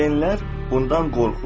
Valideynlər bundan qorxur.